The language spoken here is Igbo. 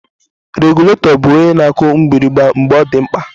Regụlatọ bụ onye na-akụ mgbịrịgba mgbe ọ dị mkpa